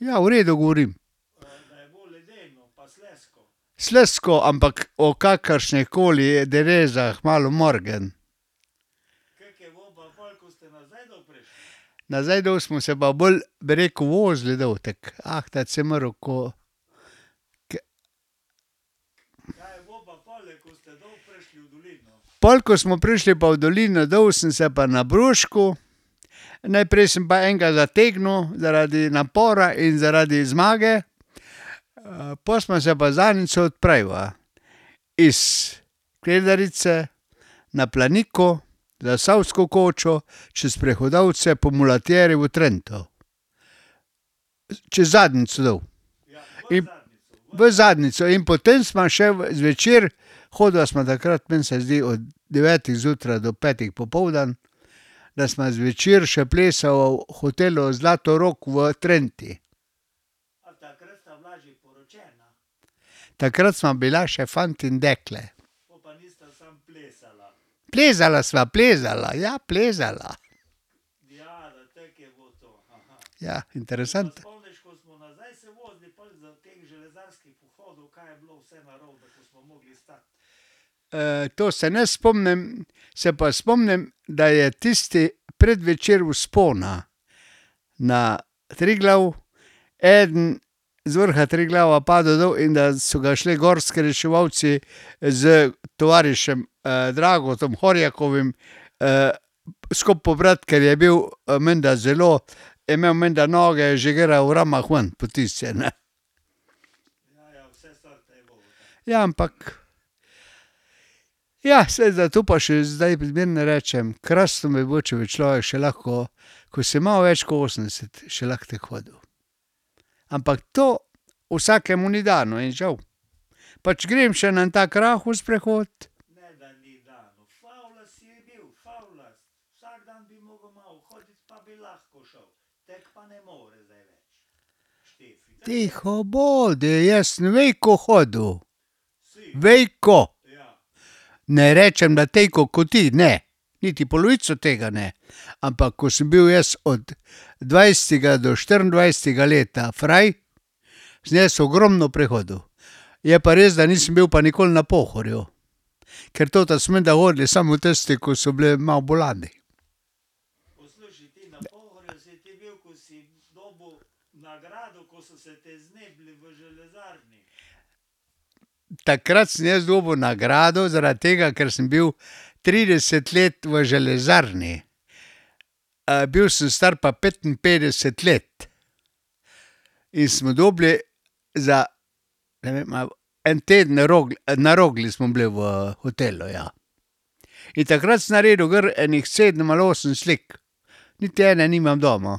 Ja, v redu govorim ... Slizko, ampak o kakršnih koli derezah malo morgen. Nazaj dol smo se pa bolj, bi rekel, vozili dol tako, ahtati si moral, ko, ke ... Pol ko smo prišli pa v dolino dol, sem se pa nabruškal, najprej sem pa enega zategnil zaradi napora in zaradi zmage, pol sva se pa z Anico odpravila. Iz Kredarice na Planiko, Zasavsko kočo, čez Prehodavce po mulatjeri v Trento. Čez Zadnjico dol. In ... V Zadnjico in potem sva še zvečer, hodila sva takrat, meni se zdi od devetih zjutraj do petih popoldan, da sva zvečer še plesala v hotelu Zlatorog v Trenti. Takrat sva bila še fant in dekle. Plezala sva, plezala, ja, plezala. Ja, interesant. to se ne spomnim, se pa spomnim, da je tisti predvečer vzpona na Triglav eden z vrha Triglava padel dol in da so ga šli gorski reševalci s tovarišem [ime in priimek] , skupaj pobrat, ker je bil menda zelo ... Je imel menda noge že gor v ramah ven potisnjene. Ja, ampak ... Ja, saj, zato pa še zdaj zmeraj, ne, rečem, krasno bi bilo, če bi človek še lahko, ko si malo več ko osemdeset, še lahko tako hodil. Ampak to vsakemu ni dano in žal. Pač grem še na en tak rahel sprehod. Tiho bodi, jaz sem veliko hodil, veliko. Ne rečem, da toliko ko ti, ne, niti polovico tega ne, ampak ko sem bil jaz od dvajsetega do štiriindvajsetega leta fraj, sem jaz ogromno prehodil. Je pa res, da nisem bil pa nikoli na Pohorju, , ker toto so menda hodili samo tisti ko, so bili malo bolani. Takrat sem jaz dobil nagrado zaradi tega, ker sem bil trideset let v železarni. bil sem star pa petinpetdeset let. In smo dobili za ne vem, a j en teden na Rogli smo bili v hotelu, ja. In takrat sem naredil gor ene sedem ali osem slik. Niti ene nimam doma.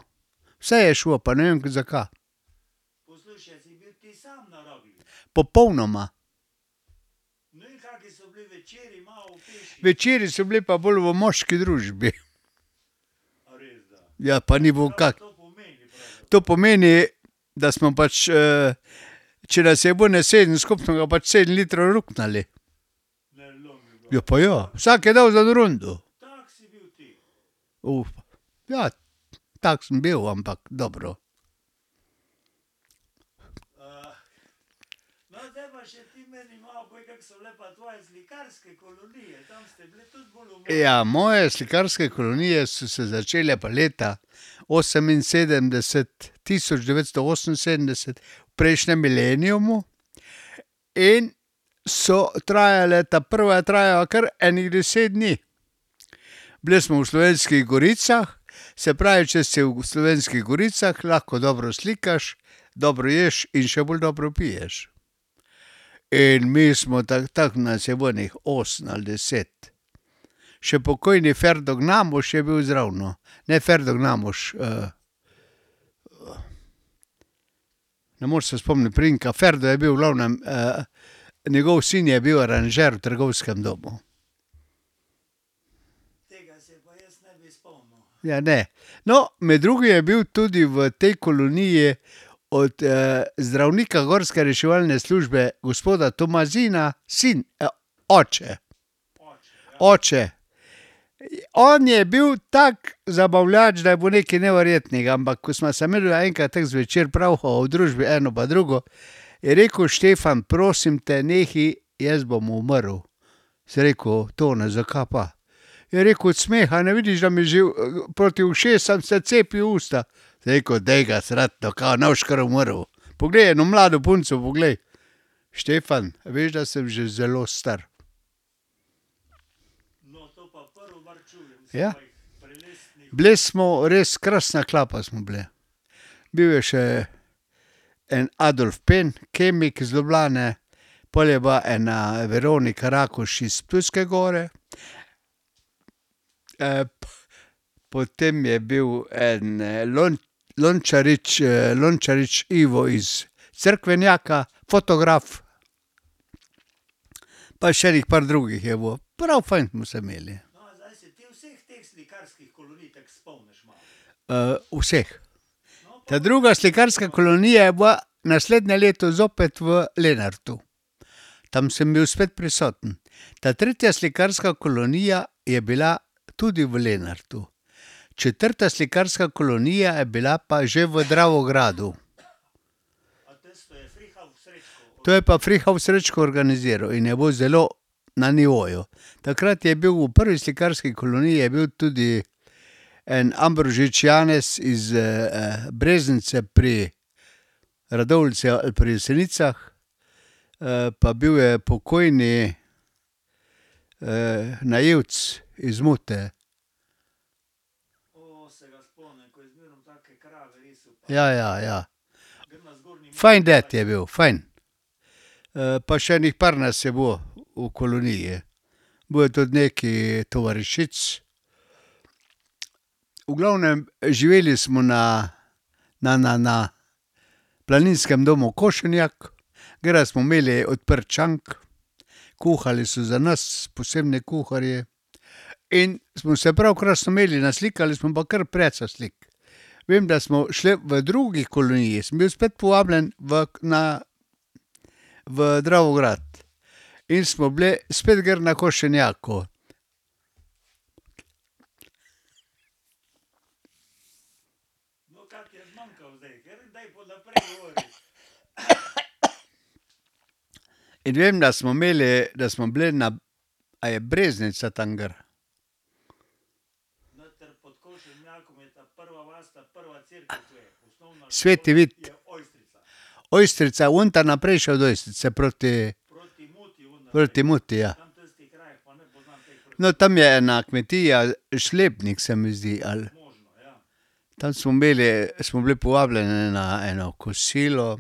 Vse je šlo, pa ne vem, zakaj. Popolnoma. Večeri so bili pa bolj v moški družbi. Ja, pa ni bil ... To pomeni, da smo pač , če nas je bilo ene sedem skupaj, smo ga pač sedem litrov ruknili. Ja, pa ja. Vsak je dal za eno rundo. Ja. Tak sem bil, ampak dobro. Ja, moje slikarske kolonije so se začele pa leta oseminsedemdeset tisoč devetsto oseminsedemdeset v prejšnjem mileniumu in so trajale, ta prva je trajala kar ene deset dni. Bili smo v Slovenskih goricah, se pravi, če si v Slovenskih goricah, lahko dobro slikaš, dobro ješ in še bolj dobro piješ. In mi smo, tako tako nas je bilo ene osem ali deset. Še pokojni [ime in priimek] je bil zraven, ne [ime in priimek] ... Ne moreš se spomniti priimka, Ferdo je bil, v glavnem, njegov sin je bil aranžer v trgovskem domu. Ja, ne. No, med drugimi je bil tudi v tej koloniji od zdravnika gorske reševalne službe, gospoda Tomazina, sin oče. Oče. On je bil tak zabavljač, da je bilo nekaj neverjetnega, ampak ko sva se midva enkrat tako zvečer pravhala o družbi eno pa drugo, je rekel: "Štefan, prosim te, nehaj, jaz bom umrl." Sem rekel: "Tone, zakaj pa?" Je rekel: "Od smeha, ne vidiš, da mi že proti ušesom se cepi usta." Sem rekel: "Daj ga srati, no, ka ne boš kar umrl. Poglej eno mlado punco, poglej." "Štefan, a veš, da sem že zelo star." Ja. Bili smo res, krasna klapa smo bili. Bil je še en [ime in priimek] , kemik iz Ljubljane. Pol je pa ena [ime in priimek] iz Ptujske Gore. potem je bil eden Lončarič, [ime in priimek], iz Cerkvenjaka, fotograf. Pa še ene par drugih je bilo. Prav fajn smo se imeli. vseh. Ta druga slikarska kolonija ja bila naslednje leto zopet v Lenartu. Tam sem bil spet prisoten. Ta tretja slikarska kolonija je bila tudi v Lenartu. Četrta slikarska kolonija je bila pa že v Dravogradu. To je pa [ime in priimek] organizirali in je bilo zelo na nivoju. Takrat je bil v prvi slikarski koloniji, je bil tudi en [ime in priimek] iz Breznice pri Radovljici ali pri Jesenicah. pa bil je pokojni, naivec iz Mute. Ja, ja, ja. Fajn ded je bil, fajn. pa še ene par nas je bilo v koloniji. Bilo je tudi nekaj tovarišic. V glavnem, živeli smo na, na, na, na Planinskem domu Košenjak, gori smo imeli odprt šank, kuhali so za nas posebni kuharji. In smo se pravi krasno imeli, naslikali smo pa kar precej slik. Vem, da smo šli v drugi koloniji, sem bil spet povabljen v, na, v Dravograd in smo bili spet gor na Košenjaku. In vem, da smo imeli, da smo bili na, a je Breznica tam gor? Sveti Vid. Ojstrica je vunta naprej še proti ... Proti Muti, ja. No, tam je ena kmetija Šlebnik, se mi zdi, ali. Tam smo bili, smo bili povabljeni na eno kosilo,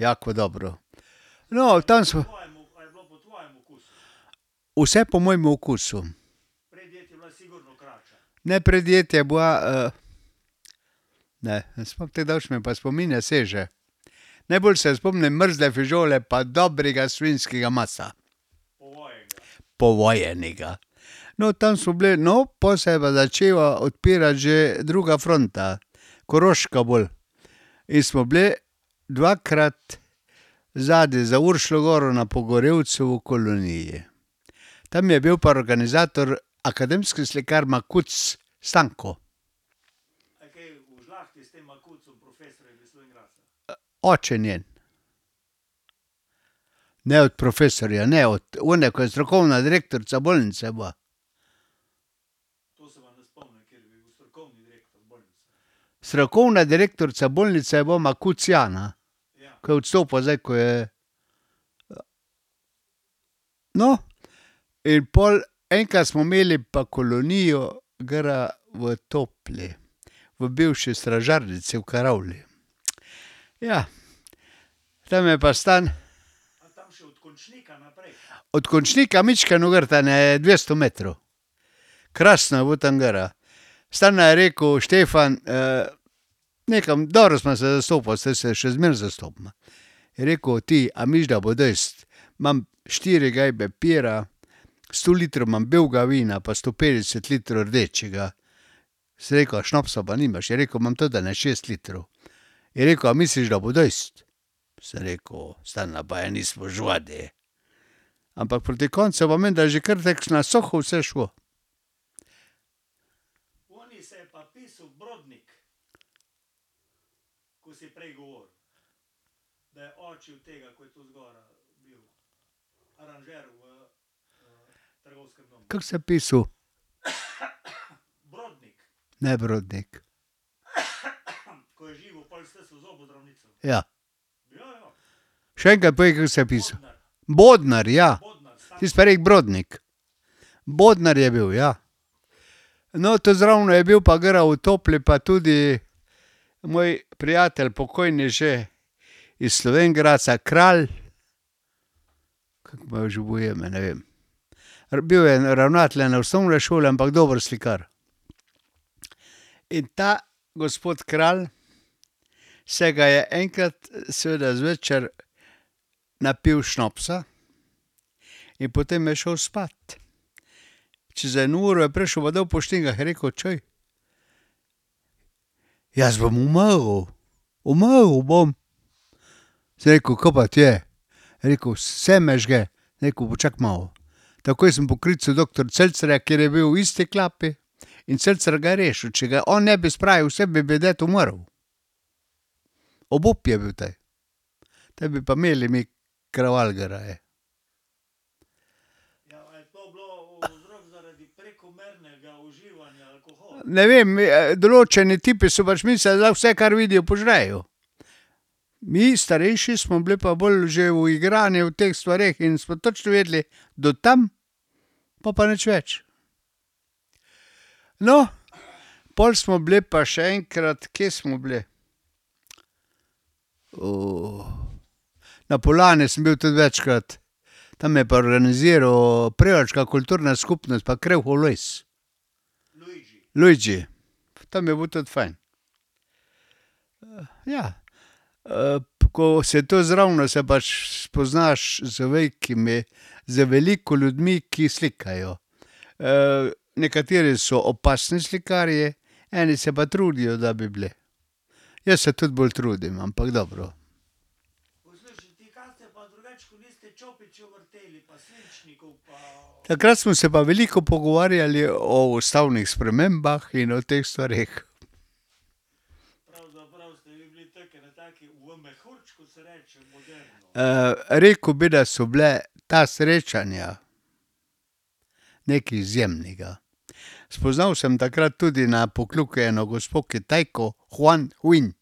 jako dobro. No, tam smo ... Vse po mojem okusu. Ne, predjed je bila ... Ne, ne tako daleč mi pa spomin ne seže. Najbolj se spomnim mrzle fižole pa dobrega svinjskega mesa. Povojenega. No, tam smo bili, no, pol se je pa začela odpirati že druga fronta. Koroška bolj. In smo bili dvakrat zadaj za Uršljo goro na Pogorelcu v koloniji. Tam je bil pa organizator akademski slikar [ime in priimek] . Oče njen. Ne od profesorja, ne, od one, ki je strokovna direktorica bolnice bila. Strokovna direktorica bolnice je bila Makuc Jana. Ke je odstopila zdaj, ko je ... No, in pol enkrat smo imeli pa kolonijo gori v Topli, v bivši stražarnici v karavli. Ja. Tam je pa ... Od Končnika mičkeno gor, tja ene dvesto metrov. Krasno je bilo tam gori. Stane je rekel: "Štefan, ..." Nekam dobro sva se zastopila, saj se še zmeraj zastopiva. Je rekel: "Ti, a misliš, da bo dež? Imam štiri gajbe pira, sto litrov imam belega vina pa sto petdeset litrov rdečega." Sem rekel: "A šnopsa pa nimaš?" Je rekel: "Imam tudi ene šest litrov." Je rekel: "A misliš, da bo dosti?" Sem rekel: "Stane, pa ja ne nismo živadi." Ampak proti koncu je pa menda že kar tako na suho vse šlo. Kako se je pisal? Ne Brodnik. Ja. Še enkrat povej, kako se je pisal. Bodnar, ja. Ti si pa rekel Brodnik. Bodnar je bil, ja. No, tu zraven je bil pa gor v Topli pa tudi moj prijatelj pokojni že iz Slovenj Gradca, Kralj ... Kako mu je že bilo ime, ne vem. Bil je en ravnatelj ene osnovne šole, ampak dober slikar. In ta gospod Kralj se ga je enkrat seveda zvečer napil šnopsa in potem je šel spat. Čez eno uro je prišel pa dol po štengah, je rekel: "Čuj, jaz bom umrl, umrl bom." Sem rekel: "Kaj pa ti je?" Je rekel: "Vse me žge." Sem rekel: "Počakaj malo." Takoj sem poklical doktor Celcerja, ker je bil v isti klapi, in Celcer ga je rešil. Če ga on ne bi spravil k sebi, bi ded umrl. Obup je bil te. Potem bi pa imeli mi kraval gor . Ne vem, določeni tipi so pač mislili, da lahko vse, kar vidijo, požrejo. Mi, starejši, smo bili pa bolj že uigrani v teh stvareh in smo točno vedeli, do tam, po pa nič več. No, pol smo bili pa še enkrat, kje smo bili ... Na Poljani sem bil tudi večkrat. Tam je pa organiziral Prevalška kulturna skupnost pa [ime in priimek] . Luigi. Tam je bilo tudi fajn. ja. ko si tu zraven, se pač spoznaš z velikimi, z veliko ljudmi, ki slikajo. nekateri so opasni slikarji, eni se pa trudijo, da bi bili. Jaz se tudi bolj trudim, ampak dobro. Takrat smo se pa veliko pogovarjali o ustavnih spremembah in o teh stvareh. rekel bi, da so bila ta srečanja nekaj izjemnega, spoznal sem takrat tudi na Pokljuki eno gospo Kitajko [ime in priimek] .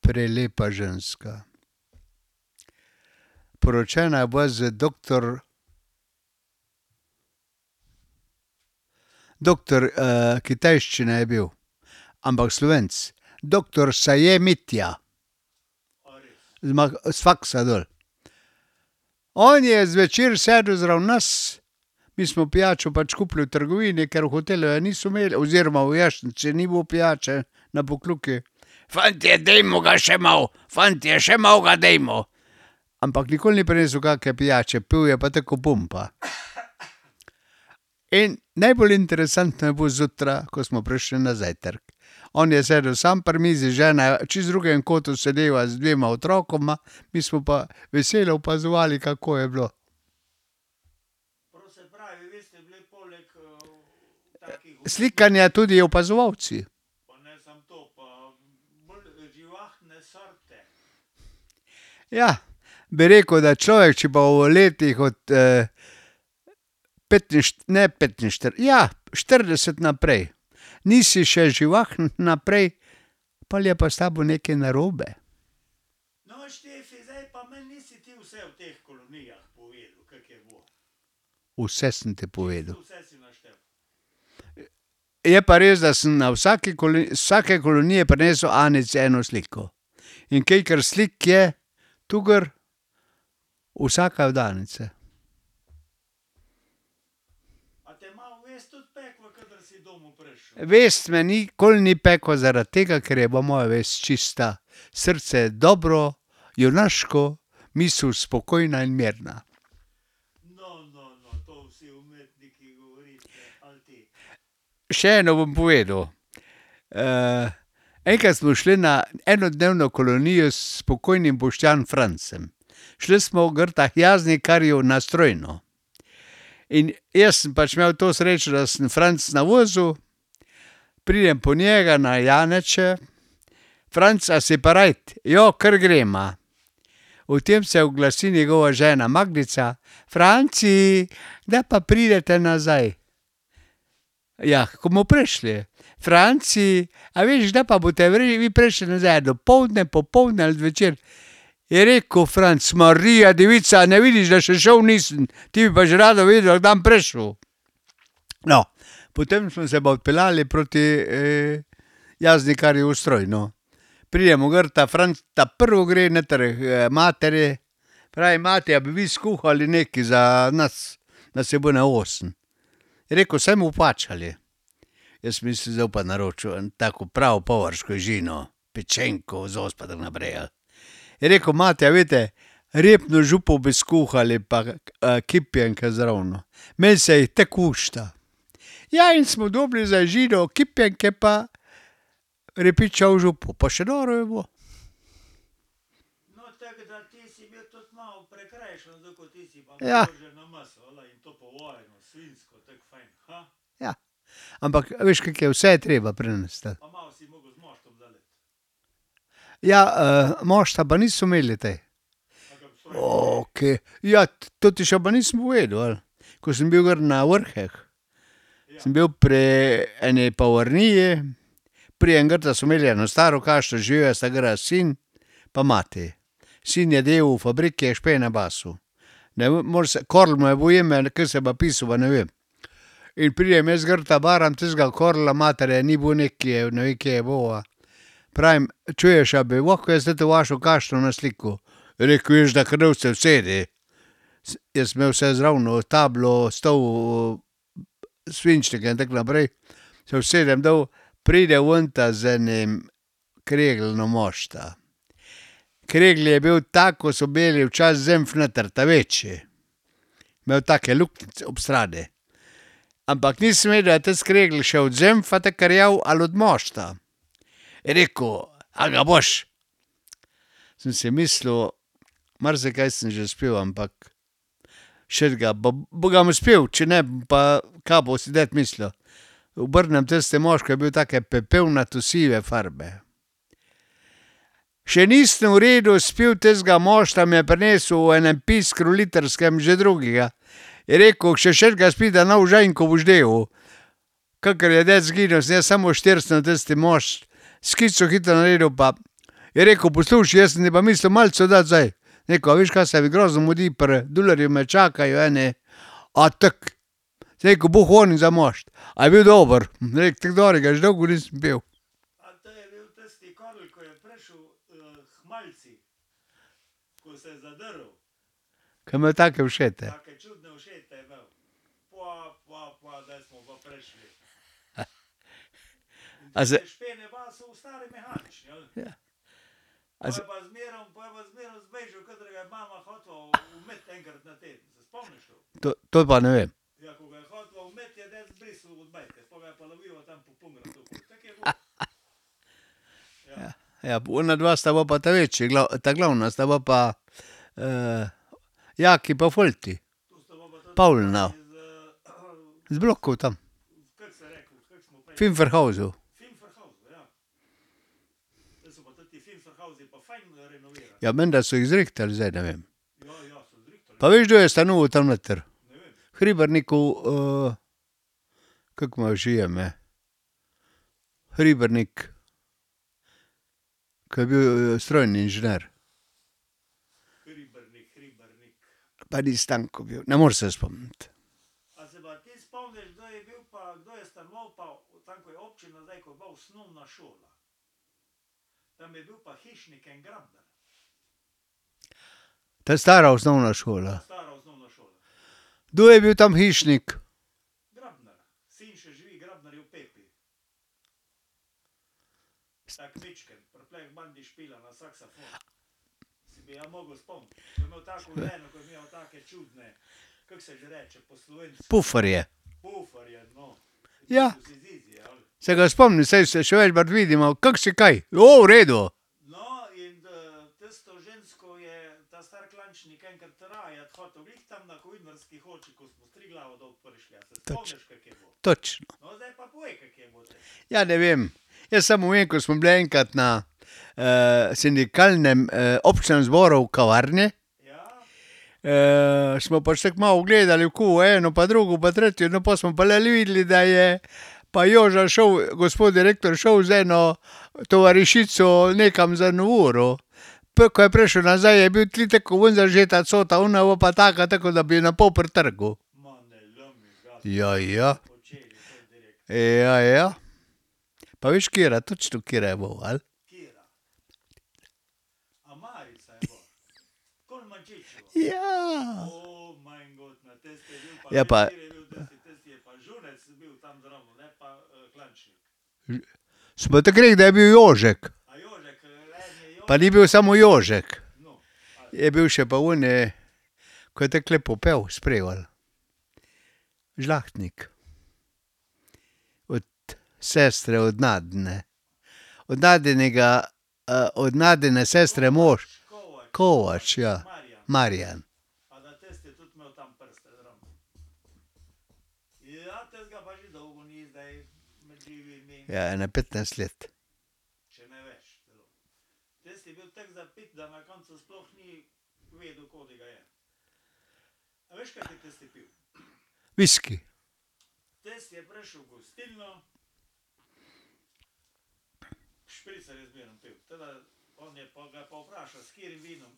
Prelepa ženska. Poročena je bila z doktor ... Doktor kitajščine je bil, ampak Slovenec. Doktor [ime in priimek]. Z s faksa dol. On je zvečer sedel zraven nas, mi smo pijačo pač kupili v trgovini, ker v hotelu je niso imeli oziroma v vojašnici ni bilo pijače, na Pokljuki. "Fantje, dajmo ga še malo, fantje, še malo ga dajmo." Ampak nikoli ni prinesel kake pijače, pil je pa tako ko bomba. In najbolj interesantno je bilo zjutraj, ko smo prišli na zajtrk, on je sedel sam pri mizi, žena čisto v drugem kotu sedela z dvema otrokoma, mi smo pa veselo opazovali, kako je bilo. Slikanja tudi opazovalci. Ja. Bi rekel, da človek, če pa v letih od ne ja, štirideset naprej. Nisi še živahen naprej, pol je pa s tabo nekaj narobe. Vse sem ti povedal. Je pa res, da sem na vsaki iz vsake kolonije prinesel Anici eno sliko. In kolikor slik je tu gor, vsaka je od Anice. Vest me nikoli ni pekla zaradi tega, ker je bila moja vest čista. Srce je dobro, junaško, misel spokojna in mirna. Še eno bom povedal. enkrat smo šli na enodnevno kolonijo s pokojnim [ime in priimek] . Šli smo gorta k Jaznikarju na Strojno. In jaz sem pač imel to srečo, da sem Franceljna vozil, pridem po njega na Janeče. "Franc, a si parajt?" "Jo, kar greva." V tem se oglasi njegova žena Magdica: "Franci, kdaj pa pridete nazaj?" "Jah, ko bomo prišli." "Franci, a veš, kdaj pa boste prišli nazaj, dopoldne, popoldne ali zvečer?" Je rekel Franc: "Marija devica, a ne vidiš, da še šel nisem. Ti bi pa že rada vedela, kdaj bom prišel." No, potem smo se pa odpeljali proti Jaznikarju v Strojno. Pridemo gorta ta prvo gre noter k materi. Pravi: "Mati, a bi vi skuhali nekaj za nas?" Nas je bilo ene osem. Je rekel: "Saj bomo plačali." Jaz sem mislil, zdaj bo pa naročil en tako pravo žino, pečenko, zos pa tako naprej, ali. Je rekel: "Mati, a veste, repno župo bi skuhali pa kipnjenke zravno. Meni se jih tako lušta. Ja, in smo dobili za žino kipnjenke pa repično župo. Pa še dobro je bilo. Ja. Ja. Ampak veš, kako je, vse je treba prinesti, ali. Ja, mošta pa niso imeli te. ... Ja, to ti še pa nisem povedal, ali? Ko sem bil gor na Vrheh. Sem bil pri eni pavrniji, pridem gorta, so imeli eno staro kaščo, živela sta gor sin pa mati. Sin je delal v fabriki, je špene basal. Ne Karel mu je bilo ime, ali kako se je pa pisal, pa ne vem. In pridem jaz gorta, baram tistega Karla, matere ni bilo nekje, ne vem, kje je bila, pravim: "Čuješ, a bi lahko jaz toto vašo kaščo naslikal?" Je rekel: "Veš, da. Kar dol se usedi." jaz sem imel vse zravno, tablo, stol svinčnike in tako naprej. Se usedem dol, pride vunta z enim kregeljnom mošta. Kregelj je bil tak, ko so imeli včasih zenf noter. Ta večji. Imel take luknjice ob strani. Ampak nisem vedel, a je tisti kregelj še od zenfa tako rjav ali od mošta. Je rekel: "A ga boš?" Sem si mislil, marsikaj sem že spil, ampak šetega bom ga spil, če ne bom pa, kaj bo si ded mislil. Obrnem tisti mošt, ko je bil take pepelnato sive farbe. Še nisem v redu spil tistega mošta, mi je prinesel v enem piskru litrskem že drugega. Je rekel: "Še šetega spij, da ne boš žejen, ke boš delal." Kakor je ded izginil, sem jaz samo štrcnil tisti mošt, skico hitro naredil pa je rekel: "Poslušaj, jaz sem ti pa mislil malico dati, zdaj." Sem rekel: "A veš kaj, se mi grozno mudi, pri Dularju me čakajo eni". "A tako?" Sem rekel: "Boglonaj za mošt." "A je bil dober?" Sem rekel: "Tako dobrega že dolgo nisem pil." Ke je imel take ušete. To, to pa ne vem. Ja. Ja, onadva sta bila pa ta glavna sta bila pa, ... Jaki pa Folti. Pavla. Z blokov tam. Finferhausu. Ja, menda so jih zrihtali zdaj, ne vem. Pa veš, kdo je stanoval tam noter? Hribernikov, kako mu je že ime? Hribernik, ko je bil strojni inženir. Pa ni Stanko bil, ne moreš se spomniti. Ta stara osnovna šola. Kdo je bil tam hišnik? Puferje. Ja. Se ga spomnim, saj se še vidimo. "Kako si kaj? "Ja, v redu." Ja, ne vem. Jaz samo vem, ko smo bili enkrat na sindikalnem, občnem zboru v kavarni. smo pač tako malo gledali okoli eno pa drugo pa tretje, no, pol smo pa le videli, da je, pa je Joža šel, gospod direktor, šel z eno tovarišico nekam za eno uro. Po ko je prišel nazaj, je bil tako kot zažeta cota, ona je bila pa taka, tako ke da bi jo na pol pretrgal. Ja, ja. Ja, ja. Pa veš, katera, točno katera je bila, ali? Ja. Je pa ... Smo , da je bil Jožek. Pa ni bil samo Jožek. Je bil še pa oni, ko je tako lepo pel, s Prevalj. Žlahtnik. Od sestre, od Nadine. Od Nadinega, od Nadine sestre mož. Kovač, ja. Marjan. Ja, ene petnajst let. Visoki. Najslabše vino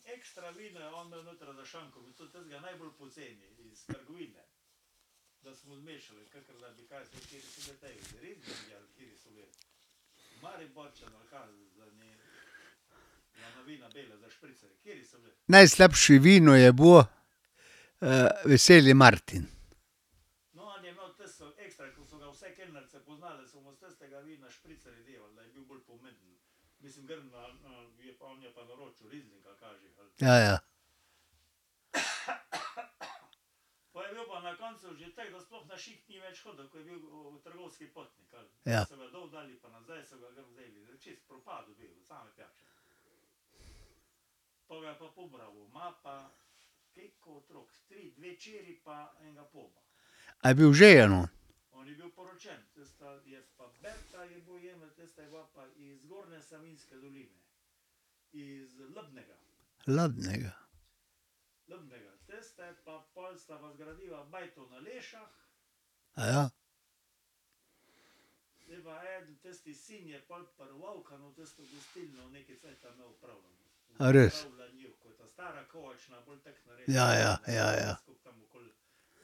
je bilo, Veseli Martin. Ja, ja. Ja. A je bil oženjen on? Hladnega? A res? Ja, ja. Ja, ja.